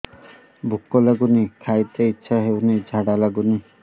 ଭୁକ ଲାଗୁନି ଖାଇତେ ଇଛା ହଉନି ଝାଡ଼ା ଲାଗୁନି